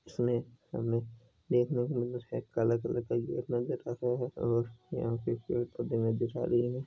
इसमें देखने के लिए एक काला कलर का देख रहा है और यहा पे पेड़ पोधे दिखाय दे रहे है।